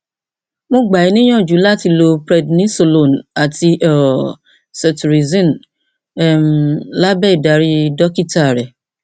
mo gba ọ níyànjú láti lo prednisolone àti um cetirizine um lábẹ ìdarí dókítà rẹ